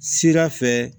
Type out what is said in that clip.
Sira fɛ